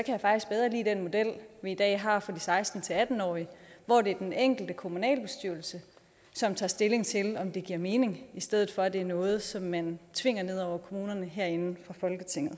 jeg faktisk bedre lide den model vi i dag har for de seksten til atten årige hvor det er den enkelte kommunalbestyrelse som tager stilling til om det giver mening i stedet for at det er noget som man tvinger ned over kommunerne herinde fra folketinget